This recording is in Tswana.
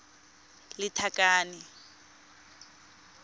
lethakane